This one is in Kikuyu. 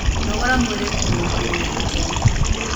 Nogora mwĩrĩ kurungirirĩa mitari